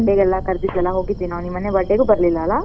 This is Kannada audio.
ಮನ್ನೆ birthday ಗೆಲ್ಲಾ ಕರ್ದಿದ್ಲಲಾ ನೀನ್ ಮೊನ್ನೆ birthday ಗೂ ಬರ್ಲಿಲ್ಲಾ ಅಲಾ?